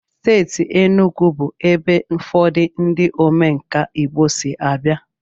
Steeti Enugwu bụ ebe ụfọdụ ndị omenkà Igbo si abịa.